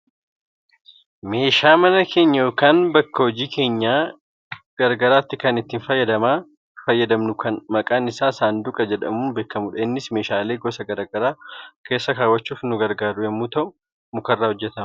Meeshaa mana keenya yookaan bakka hojii keenyaa gara garaatti kan itti fayyadamnu kan maqaan isaa saanduqa jedhamuun beekamudha. Innis meeshaalee gosa gara garaa keessa kaawwachuuf kan nu gargaaru yoo ta'u mukarraa hojjatama.